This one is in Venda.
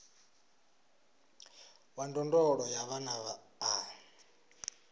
wa ndondolo ya vhana a